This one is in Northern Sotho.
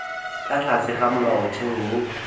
ka tlase ga molaotheo wo